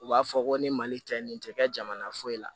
U b'a fɔ ko ni mali tɛ nin tɛ kɛ jamana foyi la